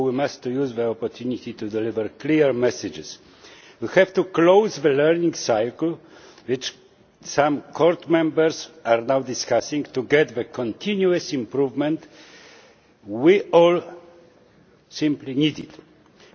So we must use the opportunity to deliver clear messages. We have to close the learning cycle, which some Court members are now discussing, to get the continuous improvement we all simply need.